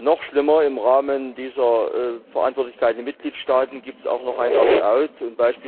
Noch schlimmer, im Rahmen dieser Verantwortlichkeiten der Mitgliedstaaten gibt es auch noch ein Opt out